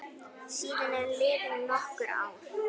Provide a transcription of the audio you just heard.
Síðan eru liðin nokkur ár.